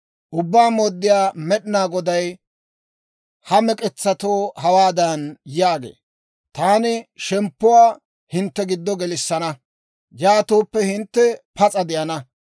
Ubbaa Mooddiyaa Med'inaa Goday ha mek'etsatoo hawaadan yaagee; «Taani shemppuwaa hintte giddo gelissana; yaatooppe hintte pas'a de'ana.